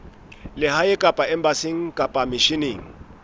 lehae kapa embasing kapa misheneng